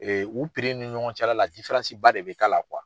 u ni ɲɔgɔn cɛla la ba de bɛ k'a la